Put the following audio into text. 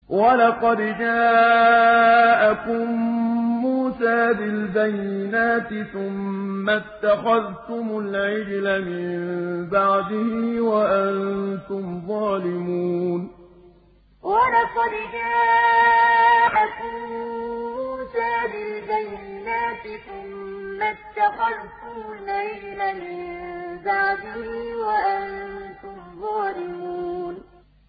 ۞ وَلَقَدْ جَاءَكُم مُّوسَىٰ بِالْبَيِّنَاتِ ثُمَّ اتَّخَذْتُمُ الْعِجْلَ مِن بَعْدِهِ وَأَنتُمْ ظَالِمُونَ ۞ وَلَقَدْ جَاءَكُم مُّوسَىٰ بِالْبَيِّنَاتِ ثُمَّ اتَّخَذْتُمُ الْعِجْلَ مِن بَعْدِهِ وَأَنتُمْ ظَالِمُونَ